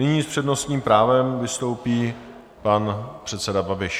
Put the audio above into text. Nyní s přednostním právem vystoupí pan předseda Babiš.